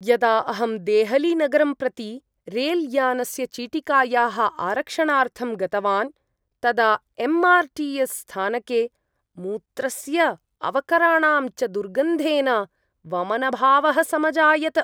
यदा अहं देहलीनगरं प्रति रेलयानस्य चीटिकायाः आरक्षणार्थं गतवान् तदा एम्. आर्. टि. एस्. स्थानके मूत्रस्य अवकराणां च दुर्गन्धेन वमनभावः समजायत।